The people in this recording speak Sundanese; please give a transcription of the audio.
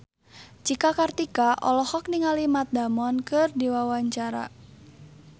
Cika Kartika olohok ningali Matt Damon keur diwawancara